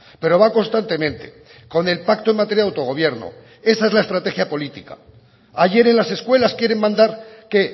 pero va constantemente con el pacto en materia de autogobierno esa es la estrategia política ayer en las escuelas quieren mandar qué